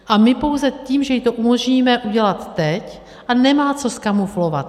A my pouze tím, že jí to umožníme udělat teď - a nemá co zkamuflovat.